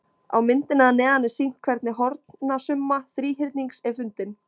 Á myndinni að neðan er sýnt hvernig hornasumma þríhyrnings er fundin.